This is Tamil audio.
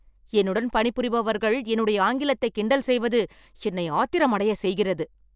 என்னுடன் பணிபுரிபவர்கள் என்னுடைய ஆங்கிலத்தை கிண்டல் செய்வது என்னை ஆத்திரமடைய செய்கிறது.